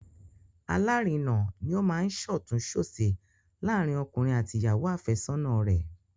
Alárinà ni ó máa ń ṣọ̀tún-ṣòsì láàárín ọkùnrin àti ìyàwó àfẹ́sọ́nà rẹ̀